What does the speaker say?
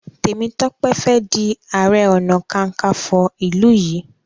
Temitope Fè dì aré ọnà kankanfo ilú yí.